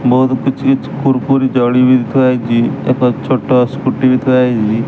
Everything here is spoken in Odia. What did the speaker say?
ବୋହୁତ୍ କିଛ୍ କିଛ୍ କୁରକୁରି ଜରି ବି ଥୁଆହେଇଚି। ଏକ ଛୋଟ ସ୍କୁଟି ବି ଥୁଆହେଇଚି।